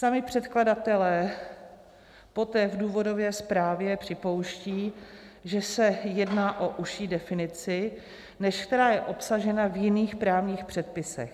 Sami předkladatelé poté v důvodové zprávě připouštějí, že se jedná o užší definici, než která je obsažena v jiných právních předpisech.